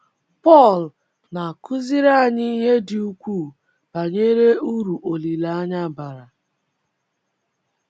Pọl na - akụziri anyị ihe dị ukwuu banyere uru olileanya bara.